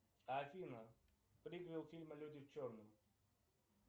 афина приквел фильма люди в черном